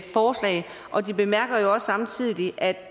forslag og de bemærker jo også samtidig